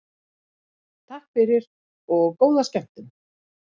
Takk fyrir og góða skemmtun.